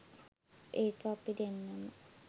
ඒක අපි දෙන්නම